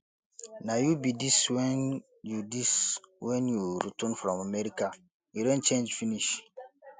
na you be dis wen you dis wen you return from america you don change finish